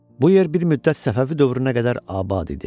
Bu yer bir müddət Səfəvi dövrünə qədər abad idi.